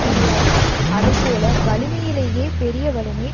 முடியாதது அதை போல வலிமையிலேயே பெரிய வலிமை